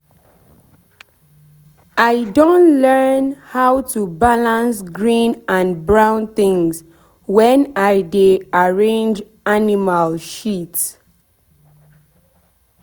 i don learn how to balance green and brown things when i dey arrange animal shit.